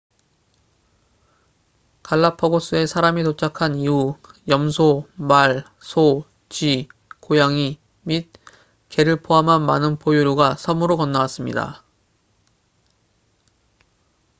갈라파고스에 사람이 도착한 이후 염소 말 소 쥐 고양이 및 개를 포함한 많은 포유류가 섬으로 건너왔습니다